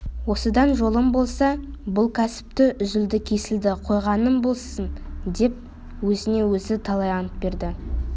осыдан жолым болса бұл кәсіпті үзілді-кесілді қойғаным болсын деп өзіне өзі талай ант берді